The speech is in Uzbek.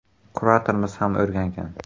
Kuratorimiz ham o‘rgangan.